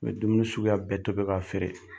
N be dumuni suguya bɛɛ tobi ka feere.